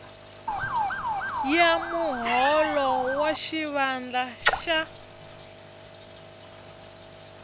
ya muholo wa xivandla xa